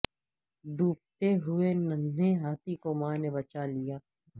ڈوبتے ہوئے ننھے ہاتھی کو ماں نے بچا لیا